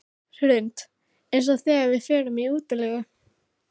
Hrund: Eins og þegar við förum í útilegu?